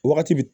Wagati bi